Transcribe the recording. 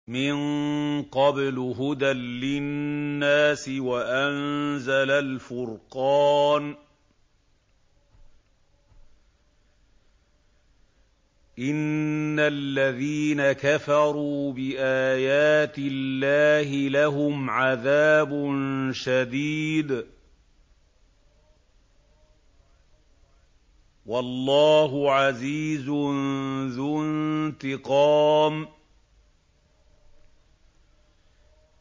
مِن قَبْلُ هُدًى لِّلنَّاسِ وَأَنزَلَ الْفُرْقَانَ ۗ إِنَّ الَّذِينَ كَفَرُوا بِآيَاتِ اللَّهِ لَهُمْ عَذَابٌ شَدِيدٌ ۗ وَاللَّهُ عَزِيزٌ ذُو انتِقَامٍ